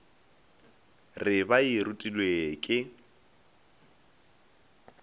re ba e rutilwe ke